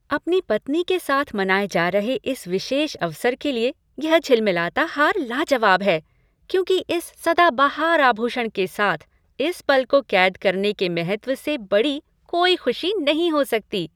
अपनी पत्नी के साथ मनाए जा रहे इस विशेष अवसर के लिए यह झिलमिलाता हार लाजवाब है क्योंकि इस सदाबहार आभूषण के साथ इस पल को कैद करने के महत्व से बड़ी कोई खुशी नहीं हो सकती।